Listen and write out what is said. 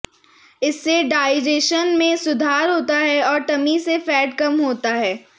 इससे डाइजेशन में सुधार होता है और टमी से फैट कम होता है